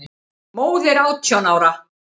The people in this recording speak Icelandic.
Móðir átján ára?